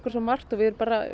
svo margt við